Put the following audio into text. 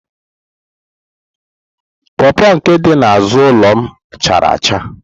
pọọpọ nke dị n'azụ ụlọ m chara acha.